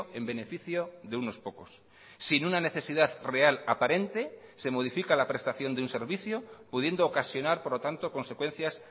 en beneficio de unos pocos sin una necesidad real aparente se modifica la prestación de un servicio pudiendo ocasionar por lo tanto consecuencias